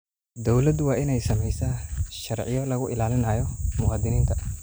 Dawladdu waa in ay samaysaa sharciyo lagu ilaalinayo muwaadiniinta.